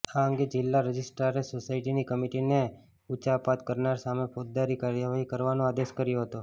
આ અંગે જીલ્લા રજીસ્ટ્રારે સોસાયટીની કમીટીને ઉચાપત કરનાર સામે ફોજદારી કાર્યવાહી કરવાનો આદેશ કર્યો હતો